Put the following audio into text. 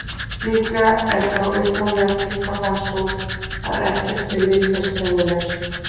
Líklega er þá upphaflega tilgátan, sú að ekkert sé litlaust, sennilegust.